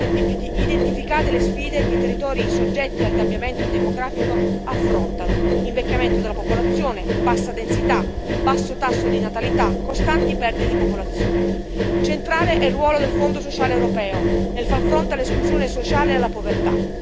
Vengono identificate le sfide che i territori soggetti al cambiamento demografico affrontano invecchiamento della popolazione, bassa densità, basso tasso di natalità, costanti perdite di popolazione. Centrale è il ruolo del Fondo sociale europeo nel far fronte all'esclusione sociale e alla povertà.